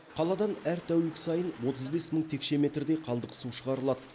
қаладан әр тәулік сайын отыз бес мың текше метрдей қалдық су шығарылады